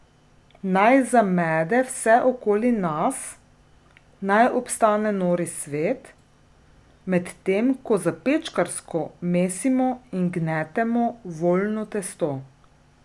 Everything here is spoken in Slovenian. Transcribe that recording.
Naj zamede vse okoli nas, naj obstane nori svet, medtem ko zapečkarsko mesimo in gnetemo voljno testo.